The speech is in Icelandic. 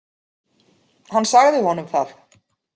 Hann sagði honum það.